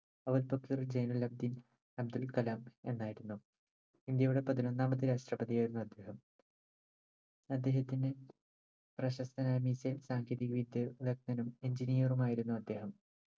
അവുൽ പകിർ ജൈനുലബ്ദീൻ അബ്ദുൽകലാം എന്നായിരുന്നു ഇന്ത്യയുടെ പതിനൊന്നാമത്തെ രാഷ്ട്രപതിയായിരുന്നു അദ്ദേഹം അദ്ദേഹത്തിന്റെ പ്രശസ്തനായ missile സാങ്കേതിക വിദ്യ വിദഗ്ദൻ engineer ഉമാറിയിരുന്നു അദ്ദേഹം